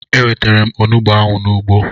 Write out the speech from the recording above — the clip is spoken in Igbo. Enwetara m Onugbo ahụ n'ugbo